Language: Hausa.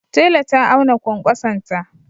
Tela ta auna kwankwasonta.